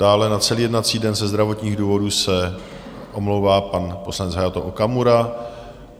Dále na celý jednací den ze zdravotních důvodů se omlouvá pan poslanec Hayato Okamura.